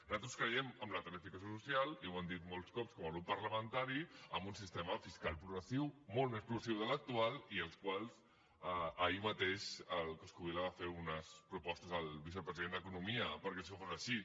nosaltres creiem en la tarifació social i ho hem dit molts cops com a grup parlamentari en un sistema fiscal progressiu molt més progressiu que l’actual i sobre el qual ahir mateix el coscubiela va fer unes propostes al vicepresident d’economia perquè això fos així